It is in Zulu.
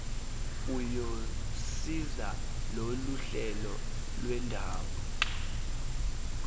uyosiza loluhlelo lwendawo